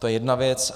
To je jedna věc.